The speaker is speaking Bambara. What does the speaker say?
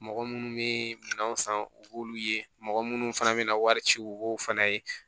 Mɔgɔ munnu be minɛnw san u b'olu ye mɔgɔ munnu fana be na wari ci u b'o fana ye